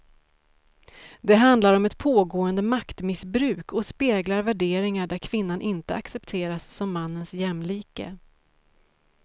Det handlar om ett pågående maktmissbruk och speglar värderingar där kvinnan inte accepteras som mannens jämlike.